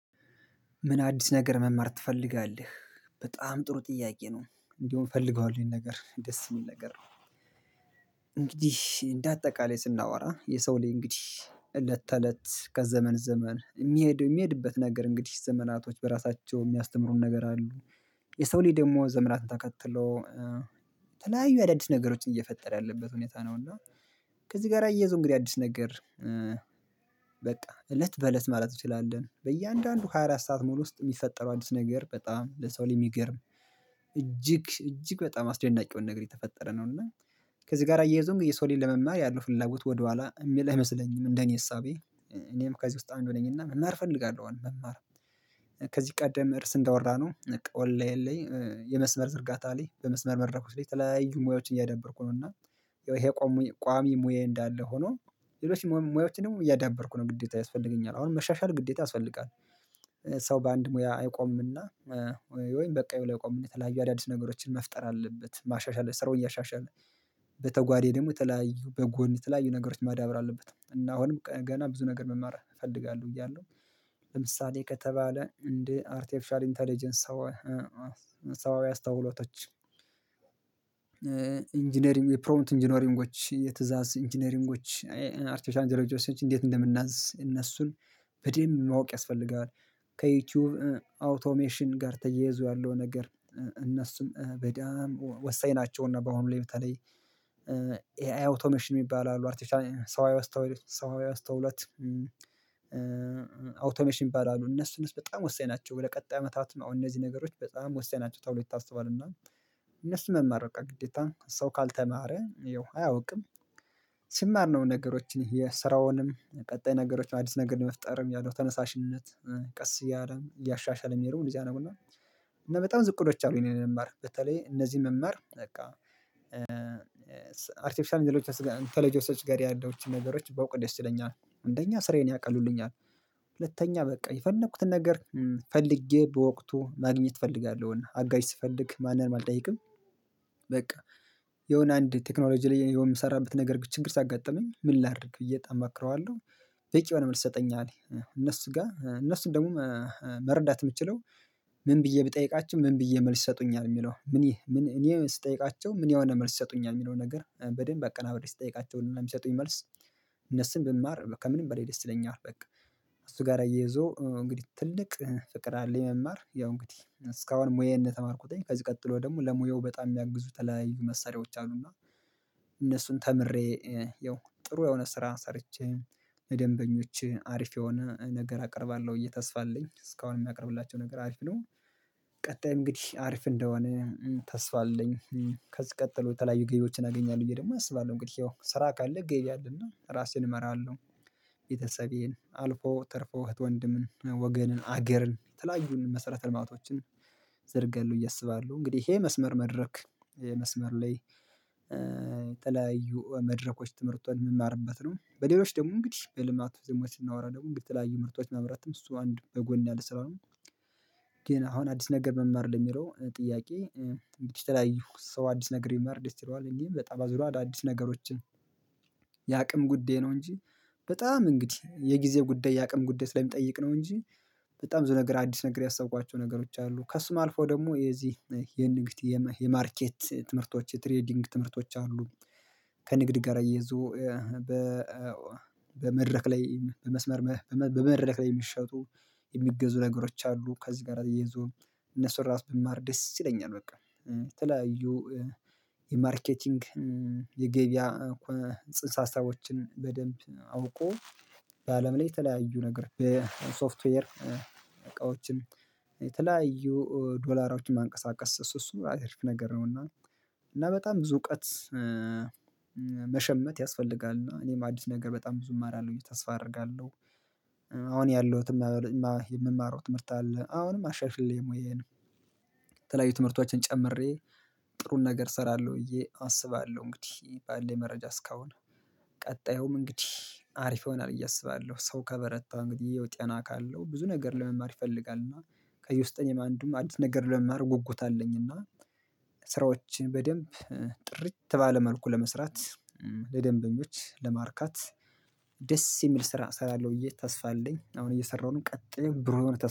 ምን አዲስ ነገር መማር ትፈልጋለህ? በጣም ጥሩ ጥያቄ ነው። እንዲሁ እፈልገዋለሁ ይሄን ነገር ደስ የሚል ነገር ነው። እንግዲህ እንደ አጠቃላይ ስናወራ የሰው ልይ እንግዲህ እለት ተእለት ከዘመን ዘመን የሚሄድ የሚሄድበት ነገር እንግዲህ ዘመናቶች በራሳቸው የሚያስተምሩን ነገር አሉ። የሰው ሊይ ደግሞ ዘመራትን ተከትሎ የተለያዩ የአዳዲስ ነገሮችን እየፈጠረ ያለበት ሁኔታ ነው። እና ከዚህ ጋር አያይዞ እንግዲህ አዲስ ነገር በቃ እለት በእለት ማለት እንችላለን። በእያንዳንዱ ሃያ አራት ሰዓት ሙሉ ውስጥ የሚፈጠረው አዲስ ነገር በጣም ለሰው ልጅ ሚገርም። እጅግ እጅግ በጣም አስደናቂውን ነገር የተፈጠረ ነው እና ከዚህ ጋር አያይዞም የሰውን ለመማር ያለው ፍላጎት ወደኋላ የሚል አይመስለኝም እንደኔ እሳቤ። እኔም ከዚህ ውስጥ አንድ ነኝና መማር እፈልጋለሁ። መማር ከዚህ ቀደም እርስ እንዳወራነው ኦንላይን ላይ የመስመር ዝርጋታ ላይ በመስመር መድረኮች ላይ ተለያዩ ሙያዎችን እያደበርኩ ነው። እና ይሄ ቋሚ ሙያዬ እንዳለ ሆኖ ሌሎች ሙያዎችንም እያዳበርኩ ነው ግዴታ ያስፈልገኛል አሁን መሻሻል ግዴታ ያስፈልጋል። ሰው በአንድ ሙያ አይቆምምና። ወይም በቃኝ ብሎ አይቆምም የተለያዩ አዳዲስ ነገሮችን መፍጠር አለበት ማሻሻል ስራውን እያሻሻልን በተጓዳኝ ደግሞ የተለያዩ በጎን የተለያዩ ነገሮች ማዳበር አለበት እና አሁንም ገና ብዙ ነገር መማር እፈልጋለሁ ብያለሁ። ለምሳሌ ከተባለ እንዴ አርቲኤፍሻል ኢንተለጀንስ ሰው ሰዋዊ አስተውሎቶች ኢንጂነሪንግ የፕሮምፕት ኢንጂነሪንጎች የትዕዛዝ ኢንጂነሪንጎች አርቲፊሻል አንጀለጆሲዎች እንዴት እንደምናዝ እነሱን በዴምብ ማወቅ ያስፈልጋል። ከዩቲዩብ አውቶሜሽን ጋር ተያይዞ ያለው ነገር እነሱን በደንብ ወሳኝ ናቸውና በአሁኑ ላይ በተለይ ኤአይ አውቶሜሽን የሚባል አሉ አርቲፊሻል ሰዋዊ አስተውሎት አውቶሜሽን ይባላሉ። እነሱ እነሱ በጣም ወሳኝ ናቸው ወደ ቀጣይ አመታት እነዚህ ነገሮች በጣም ወሳኝ ናቸው ተብሎ ይታሰባልና። እነሱን መማር በቃ ግዴታ ሰው ካልተማረ ያው አያውቅም። ሲማር ነው ነገሮችን የስራውንም ቀጣይ ነገሮች አዲስ ነገር ለመፍጠርም ያለው ተነሳሽነት ቀስ እያለም እያሻሻለም የሚሄደው እንደዚያ አድርጎ ነው። እና በጣም ብዙ እቅዶች አሉኝ እኔ ለመማር በተለይ እነዚህ መመር በቃ አርቲፌሻል እንተለጀንስ ያለቸውትን ነገሮች ባውቅ ደስ ይለኛል። አንደኛ ስራዬን ያቀሉልኛል፤ ሁለተኛ በቃ የፈለኩትን ነገር ፈልጌ በወቅቱ ማግኘት እፈልጋለሁ አጋዥ ስፈልግ ማንንም አልጠይቅም። በቃ የሆነ አንድ ቴክኖሎጂ ላይ እኔ የምሰራበት ነገር ችግር ሲያጋጥመኝ ምን ላድርግ ብዬ በጣም እመክረዋለሁ። በቂ የሆነ መልስ ይሰጠኛል። እነሱ ጋር እነሱን ደግሞ መረዳት የምችለው ምን ብዬ ብጠይቃቻው ምን ብዬ መልስ ይሰጡኛል የሚለው ምን እኔ ስጠይቃቸው ምን የሆነ መልስ ይሰጡኛል የሚለው ነገር በደንብ አቀናብሬ ስትጠይቃቸውና የሚሰጡኝ መልስ። እነሱን ብማር ከምንም በሌላ ደስ ይለኛል በቃ። እሱ ጋር አያይዞ እንግዲህ ትልቅ ፍቅር አለኝ መማር ያው እንግዲህ እስካሁን ሙያዬን እንደተማርኩት ከዚህ ቀጥሎ ደግሞ ለሙያው በጣም የሚያግዙ የተለያይ መሳሪያዎች አሉና። እነሱን ተምሬ ያው ጥሩ የሆነ ስራ ሰርቼ ለደንበኞቼ አሪፍ የሆነ ነገር አቀርባለሁ ብዬ ተስፋ አለኝ እስካሁን የማቀርብላቸው ነገር አሪፍ ነው። ቀጣይ እንግዲህ አሪፍ እንደሆነ ተስፋ አለኝ። ከዚህ ቀጥሎ የተለያዩ ገቢዎችን አገኛለሁ ብየ ደሞ አስባለሁ አንግዲህ ያው ስራ ካለ ገቢ አለና ራሴን እመራለሁ። ቤተሰቤን አልፎ ተርፎ እህት ወንድም ወገንን አገርን የተለያዩ መሰረተ ልማቶችን ዘረጋለው ብዬ አስባለሁ እንግዲህ ይሄ መስመር መድረክ መስመር ላይ የተለያዩ መድረኮች ትምህርት የምማርበት ነው። በሌሎች ደግሞ እንግዲህ በልማቱ ደግሞ ስናወራ ደግሞ የተለያዩ ምርቶች መምራትም እሱ አንድ በጎን ያለ ስራ ነው። ግን አሁን አዲስ ነገር መማር ለሚለው ጥያቄ የተለያዩ ሰው አዲስ ነገር ቢማር ደስ ይለዋል እንግዲህ በጣም አዳዲስ ነገሮችን የአቅም ጉዳይ ነው። እንጂ በጣም እንግዲህ የጊዜ ጉዳይ የአቅም ጉዳይ ስለሚጠይቅ ነው። እንጂ በጣም ብዙ ነገር አዲስ ነገር ያሰብኳቸው ነገሮች አሉ ከሱም አልፎ ደግሞ የዚህ የንግድ የማርኬት ትምህርቶች የትሬዲንግ ትምህርቶች አሉ። ከንግድ ጋር እያይዞ በመድረክ ላይ በመስመር በመድረክ ላይ የሚሸጡ የሚገዙ ነገሮች አሉ። ከዚህ ጋር ተያይዞ እነሱን ራሱ ብማር ደስ ይለኛል። በቃ የተለያዩ የማርኬቲንግ የገበያ ጽንሰ ሀሳቦችን በደንብ አውቆ በአለም ላይ የተለያዩ ነገር የሶፍትዌር እቃዎችን የተለያዩ ዶላሮችን ማንቀሳቀስ እሱ እሱ አሪፍ ነገር ነውና። እና በጣም ብዙ እውቀት መሸመት ያስፈልጋል እና እኔም አዲስ ነገር በጣም ብዙ እማራለሁ ተስፋ አደርጋለሁ። አሁን ያለሁትም የምማረው ትምህርት አለ አሁንም አሻሽሌ ሙያዬን ተለያዩ ትምህርቶችን ጨምሬ ጥሩን ነገር እሰራለሁ ብዬ አስባለሁ። እንግዲህ ባለኝ መረጃ እስካሁን ቀጣዩም እንግዲህ አሪፍ ይሆናል አስባለሁ ሰው ከበረታ እንግዲህ ያው ጤና ካለሁ ብዙ ነገር ለመማር ይፈልጋል። እና ከዩስተን አንዱም አዲስ ነገር ለመማር ጉጉት አለኝ። እና ስራዎችን በደንብ ጥርት ባለ መልኩ ለመስራት ለደንበኞች ለማርካት ደስ የሚል ስራ እሰራለሁ ብዬ ተስፋ አለኝ። አሁን እየሰራሁ ነው ቀጥሌ ብሩህ የሆነ ተስፋ